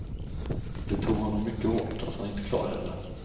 Det tog honom mycket hårt att han inte klarade det.